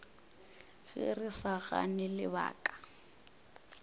ge re sa gane lebaka